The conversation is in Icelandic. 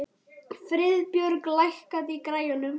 Friðbjörg, lækkaðu í græjunum.